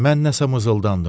Mən nəsə mızıldandım.